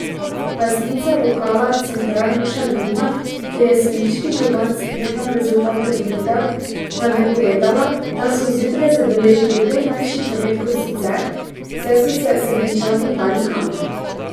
Lastnica lokala Central Nuša Vidmar, kjer je sevniški župan spremljal rezultate volitev, nam je povedala, da so zjutraj zabeležili prej manjši promet kot sicer, saj so se Sevničani bali kamer.